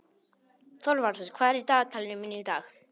Þorvarður, hvað er í dagatalinu mínu í dag?